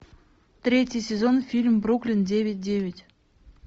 третий сезон фильм бруклин девять девять